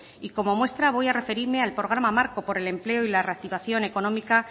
y como muestra voy a referirme al programa marco por el empleo y la reactivación económica